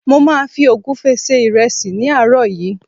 mo ma fi ogunfe se iresi ní àárò yìí